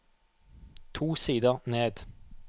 To sider ned